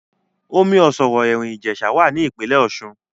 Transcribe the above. Omi ọ̀ṣọ̀rọ̀ Ẹ̀rín Ìjẹ̀sà wà ní Ìpínlẹ̀ Ọ̀ṣun